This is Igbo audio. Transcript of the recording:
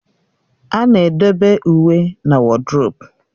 A na-edobe uwe na woduropu